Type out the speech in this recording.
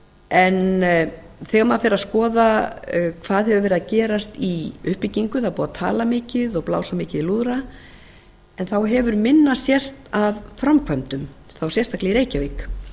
en þegar maður fer að skoða hvað hefur verið að gerast í uppbyggingu það er búið að tala mikið og blása mikið í lúðra en þá hefur minna sést af framkvæmdum og þá sérstaklega í reykjavík